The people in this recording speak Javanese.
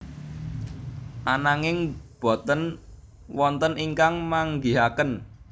Ananging boten wonten ingkang manggihaken